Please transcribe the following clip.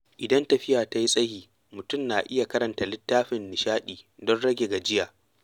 Idan tafiya ta yi tsayi, mutum na iya karanta littafin nishaɗi don rage gajiya.